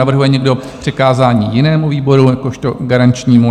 Navrhuje někdo přikázání jinému výboru jakožto garančnímu?